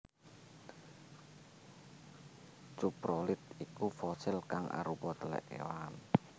Cuprolit iku fosil kang arupa telek kewan